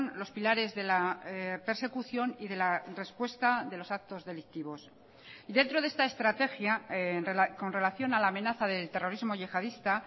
los pilares de la persecución y de la respuesta de los actos delictivos dentro de esta estrategia con relación a la amenaza del terrorismo yihadista